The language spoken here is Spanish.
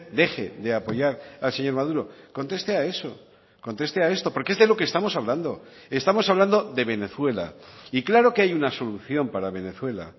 deje de apoyar al señor maduro conteste a eso conteste a esto porque es de lo que estamos hablando estamos hablando de venezuela y claro que hay una solución para venezuela